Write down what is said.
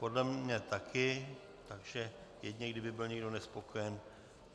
Podle mě také, takže jedině kdyby byl někdo nespokojen.